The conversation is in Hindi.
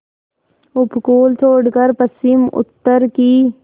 उपकूल छोड़कर पश्चिमउत्तर की